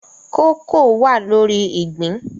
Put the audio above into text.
Kooko wà lórí ìgbín